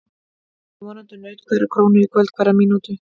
Það vonandi naut hverrar krónu í kvöld og hverrar mínútu.